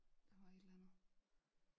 Der var et eller andet